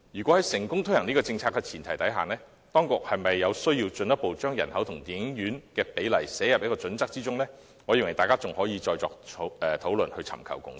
在成功推行這項政策的前提下，就當局應否進一步把人口與電影院的比例納入《規劃標準》中，我認為大家仍可再作討論，尋求共識。